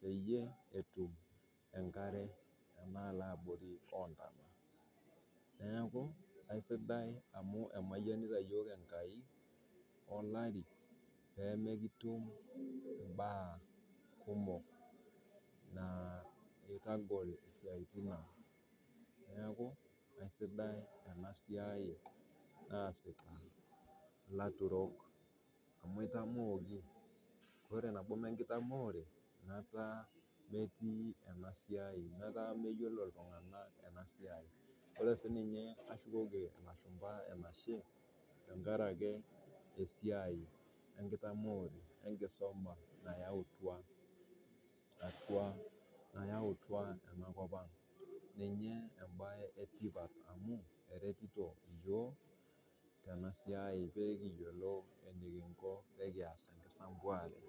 peyie etum inkare tenaa ana abori oontana, neaku esidai amuu emayanita yook enkai olari peemekitum imbaa kumok naa eitagol siatin aang' naaku kesidai ena siai naasita laturok amu eitamooki, amu eitamooki, ore nabo emee nkitamoore ankata emetii ena siai, enkata emeyiolo ltunganak ena siai. O re sii ninye nashukoki olashumba enashe tengaraki esiai enkitamoore enkisuma nayautwa atua, nayauta anakopang. Ninye embaye etipat amuu eretito yoo tena siai peekiyolou enekinko pee kiyas ana sempaare.